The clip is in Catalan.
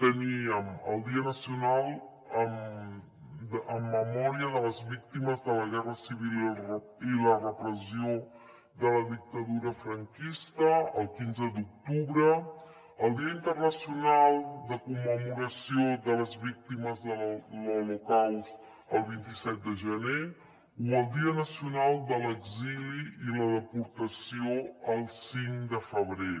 teníem el dia nacional en memòria de les víctimes de la guerra civil i la repressió de la dictadura franquista el quinze d’octubre el dia internacional de commemoració de les víctimes de l’holocaust el vint set de gener o el dia nacional de l’exili i la deportació el cinc de febrer